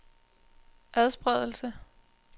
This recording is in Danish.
adspredelse